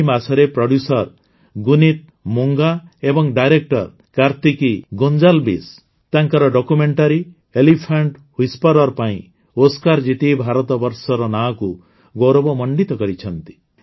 ଏହି ମାସରେ ପ୍ରୋଡ୍ୟୁସର ଗୁନୀତ୍ ମୋଂଗା ଏବଂ ଡାଇରେକ୍ଟର କାର୍ତିକୀ ଗୋଁଜାଲ୍ବିସ୍ ତାଙ୍କର ଡକ୍ୟୁମେଣ୍ଟାରୀ ଏଲିଫାଣ୍ଟ ହ୍ୱିସ୍ପର୍ସ ପାଇଁ ଓସ୍କାର ଜିତି ଭାରତବର୍ଷର ନାଁକୁ ଗୌରବମଣ୍ଡିତ କରିଛନ୍ତି